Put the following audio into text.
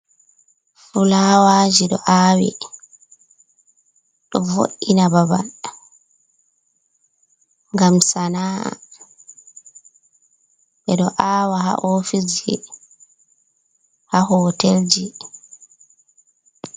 Fulawaji, ɗo awi, ɗo vo’ina babal gam sana’a, ɓe ɗo awa ha ofisji ha hotel ji.